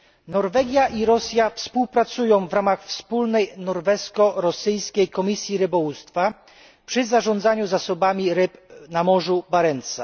Norwegia i Rosja współpracują w ramach wspólnej norwesko rosyjskiej komisji rybołówstwa przy zarządzaniu zasobami ryb na Morzu Barentsa.